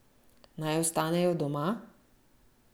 Naj ostanejo doma?